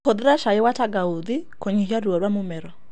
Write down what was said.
Hũthĩra cai wa tangauthi kũnyihia ruo rwa mũmero.